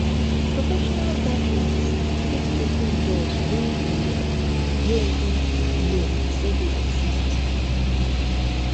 professional gatherings fit open doors wey you um no even know say dey exist um